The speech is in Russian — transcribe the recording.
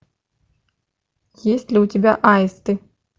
есть ли у тебя аисты